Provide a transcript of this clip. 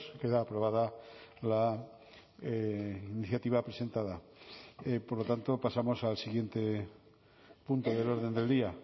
queda aprobada la iniciativa presentada por lo tanto pasamos al siguiente punto del orden del día